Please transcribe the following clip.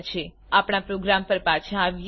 ચાલો આપણા પ્રોગ્રામ પર પાછા આવીએ